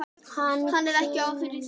Hann er ekki ófríður lengur.